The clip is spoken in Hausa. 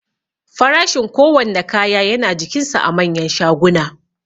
Farashin kowanne kaya yana jikinsa a manyan shaguna